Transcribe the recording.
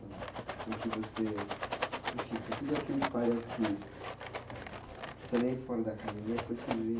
Com o que você, enfim, com tudo aquilo que parece que que também fora da academia foi surgir